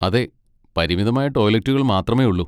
അതെ, പരിമിതമായ ടോയ്ലറ്റുകൾ മാത്രമേയുള്ളൂ.